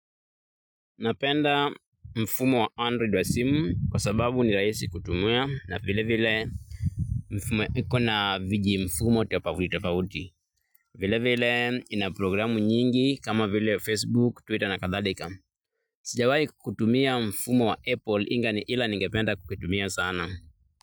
Napenda mfumo wa Android wa SIM kwa sababu ni rahisi kutumia na vile vile mfumo iko na vijimfumo tofauti tofauti vilevile ina programu nyingi kama vile Facebook, Twitter na kadhalika. Sijawai kutumia mfumo wa Apple inga ila ningependa kuitumia sana.